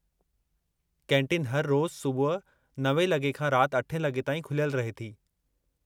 Canteen हर रोज़ु सुबुह 9 लॻे खां राति 8 लॻे ताईं खुलियल रहे थी।